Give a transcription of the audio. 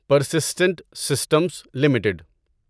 persistent systems limited